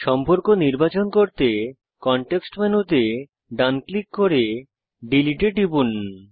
সম্পর্ক নির্বাচন করতে কনটেক্সট মেনুতে ডান ক্লিক করে ডিলিট এ টিপুন